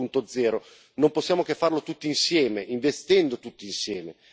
4.0, non possiamo che farlo tutti insieme, investendo tutti insieme.